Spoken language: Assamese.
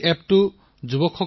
আৰু এটা এপ আছে ষ্টেপ ছেট গো